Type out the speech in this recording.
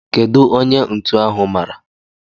Kedụ onye ntu ahụ mara?